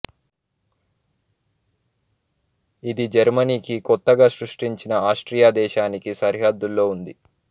ఇది జర్మనీకి కొత్తగా సృష్టించిన ఆస్ట్రియా దేశానికీ సరిహద్దుల్లో ఉంది